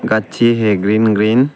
गाछी है green green.